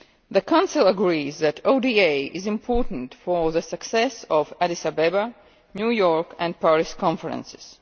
The Council agrees that ODA is important for the success of the Addis Ababa, New York and Paris conferences.